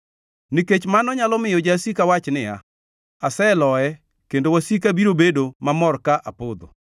nikech mano nyalo miyo jasika wach niya, “Aseloye,” kendo wasika biro bedo mamor ka apodho.